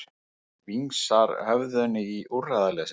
Vingsar höfðinu í úrræðaleysi.